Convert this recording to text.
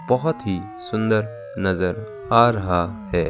बहोत ही सुंदर नजर आ रहा है।